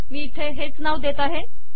मी इथे हेच नाव देत आहे